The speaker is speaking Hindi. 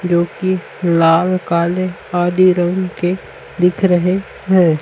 जोकि लाल काले आदि रंग के दिख रहे हैं।